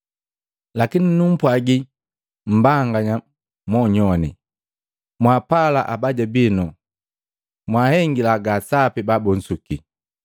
“Lakini numpwaji mmbanganya monyoane, mwaapala abaja binu, na mwahengila ga sapi babunsuki,